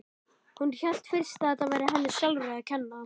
Hún hélt fyrst að þetta væri henni sjálfri að kenna.